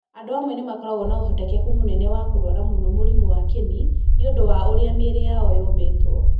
Andũ amwe nĩ makoragwo na ũhotekeku mũnene wa kũrwara mũno mũrimũ wa kĩni nĩ ũndũ wa ũrĩa mĩĩrĩ yao yũmbĩtwo.